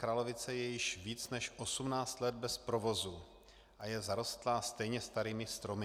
Kralovice je již více než 18 let bez provozu a je zarostlá stejně starými stromy.